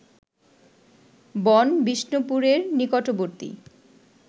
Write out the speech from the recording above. বন-বিষ্ণুপুরের নিকটবর্তী